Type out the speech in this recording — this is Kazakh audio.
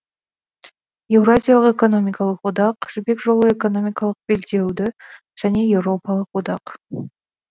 еуразиялық экономикалық одақ жібек жолы экономикалық белдеуді және еуропалық одақ